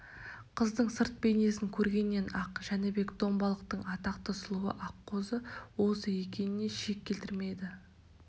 қыздың сырт бейнесін көргеннен-ақ жәнібек домбалықтың атақты сұлуы аққозы осы екеніне шек келтірмеді